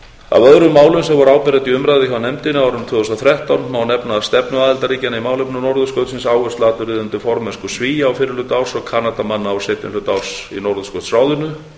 öðrum málum sem voru áberandi í umræðu hjá nefndinni á árinu tvö þúsund og þrettán má nefna stefnu aðildarríkjanna í málefnum norðurskautsins áhersluatriði undir formennsku svía á fyrri hluta árs og kanadamanna á seinni hluta árs í norðurskautsráðinu